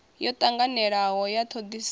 yo tanganelanaho ya thodisiso na